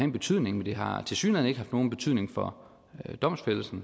en betydning men det har tilsyneladende ikke haft nogen betydning for domfældelsen